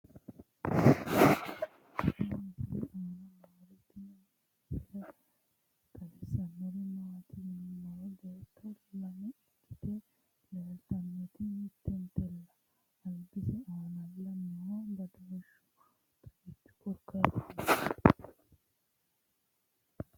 tenne misile aana noorina tini misile xawissannori maati yinummoro beetto lame ikkitte leelittannotti mittentella alibbisse aannalla noo badooshshu xagichchu korikaattinninna